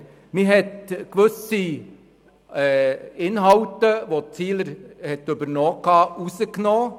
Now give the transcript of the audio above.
Man hat gewisse Inhalte, die Ziele übernommen hatten, herausgenommen.